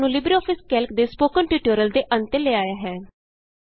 ਇਹ ਸਾਨੂੰ LibreOffice Calc ਦੇ ਸਪੋਕਨ ਟਿਯੂਟੋਰਿਅਲ ਦੇ ਅੰਤ ਤੇ ਲੈ ਆਇਆ ਹੈ